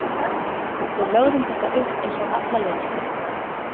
Við lögðum þetta upp eins og alla leiki.